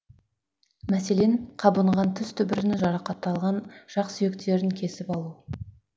мәселен қабынған тіс түбірін жарақаттапған жақ сүйектерін кесіп алу